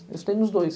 Eu estudei nos dois.